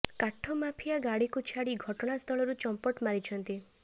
କାଠ ମାଫିଆ ଗାଡିକୁ ଛାଡି ଘଟଣା ସ୍ଥଳରୁ ଚମ୍ପଟ ମାରିଛନ୍ତି